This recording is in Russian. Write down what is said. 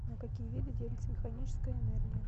на какие виды делится механическая энергия